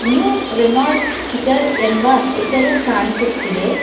New Renault Kiger ಎಂಬ ಹೆಸರು ಕಾಣಿಸುತ್ತಿದೆ.